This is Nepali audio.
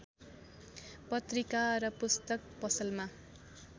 पत्रिका र पुस्तक पसलमा